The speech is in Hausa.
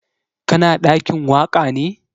Ka na ɗakin waƙa ne?